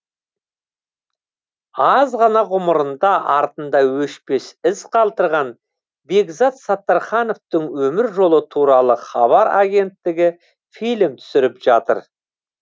аз ғана ғұмырында артында өшпес із қалдырған бекзат саттархановтың өмір жолы туралы хабар агенттігі фильм түсіріп жатыр